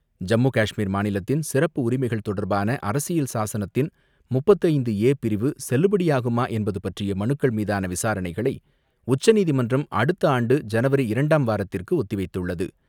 ஜம்மு காஷ்மீர் மாநிலத்தின் சிறப்பு உரிமைகள் தொடர்பான அரசியல் சாசனத்தின் முப்பது ஐந்து ஏ பிரிவு செல்லுபடியாகுமா என்பது பற்றிய மனுக்கள் மீதான விசாரணைகளை உச்சநீதிமன்றம் அடுத்த ஆண்டு ஜனவரி இரண்டாம் வாரத்திற்கு ஒத்திவைத்துள்ளது.